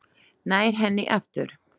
Nær henni aftur.